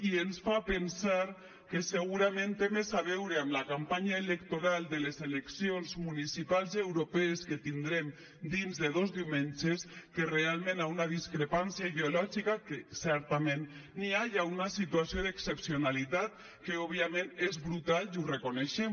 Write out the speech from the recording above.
i ens fa pensar que segurament té més a veure amb la campanya electoral de les eleccions municipals i europees que tindrem dins de dos diumenges que realment amb una discrepància ideològica que certament n’hi ha ni amb una situació d’excepcionalitat que òbviament és brutal i ho reconeixem